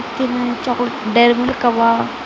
ತಿನ್ನೋ chocolate Dairy Milk ಅವ.